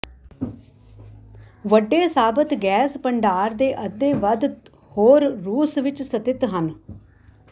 ਵੱਡੇ ਸਾਬਤ ਗੈਸ ਭੰਡਾਰ ਦੇ ਅੱਧੇ ਵੱਧ ਹੋਰ ਰੂਸ ਵਿੱਚ ਸਥਿਤ ਹਨ